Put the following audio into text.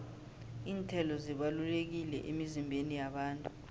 iinthelo zibalulekile emizimbeni yabantu